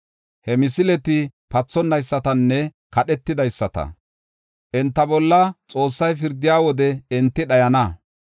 He misileti pathonaysatanne kedhetidaysata; enta bolla Xoossay pirdiya wode enti dhayana.